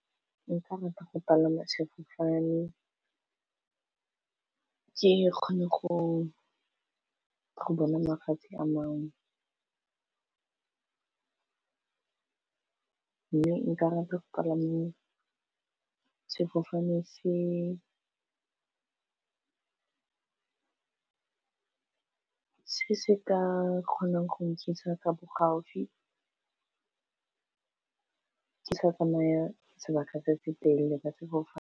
Nka rata go palama sefofane ke kgone go bona mafatshe a mangwe mme nka rata ke palame sefofane se se se ka kgonang go nthusa ka bo gaufi ke sa tsamaya sebaka se se telele ba sefofane.